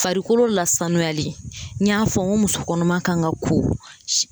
Farikolo lasanuyali n y'a fɔ n ko muso kɔnɔma kan ka ko